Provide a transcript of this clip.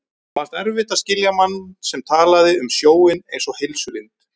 Honum fannst erfitt að skilja mann sem talaði um sjóinn einsog heilsulind.